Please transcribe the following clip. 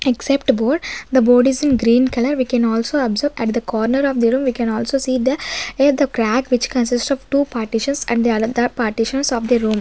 except board the board is in green colour we can also observe at the corner of the room we can also see the a crack which consists of two partitions and the another partitions of the room.